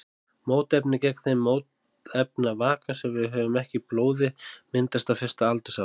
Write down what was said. Mótefni gegn þeim mótefnavaka sem við höfum ekki í blóði myndast á fyrsta aldursári.